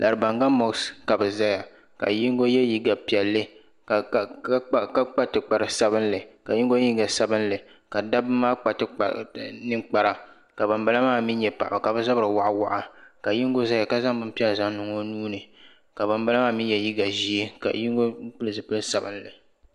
Laribaŋa moksi ka bɛ zaya ka yingu ye liiga piɛlli ka kpa tikpari sabinli ka dabba maa kpa ninkpara ka banbala maa mee nye paɣaba ka bɛ zabri waɣa waɣa ka yingu zaya ka zaŋ binpiɛlli niŋ o nuuni ka banbala maa mee ye liiga ʒee ka yingu pili zipil'sabinli.